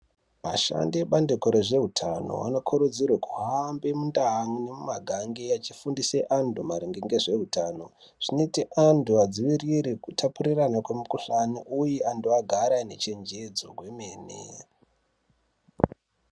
Ashandi ebandiko rezve utano ano kurudzirwe kuhambe mundau yemu magange achi fundise antu maringe ngezve utano zvinoite vantu vadzivirire kutapurirana kwe mu kuhlani uye antu agare ane che njedzo yemene.